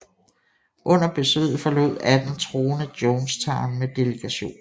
Under besøget forlod 18 troende Jonestown med delegationen